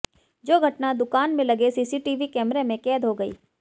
जो घटना दुकान में लगे सीसीटीवी कैमरे में कैद हो गई